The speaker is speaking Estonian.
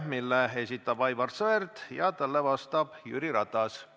Selle esitab Aivar Sõerd ja talle vastab Jüri Ratas.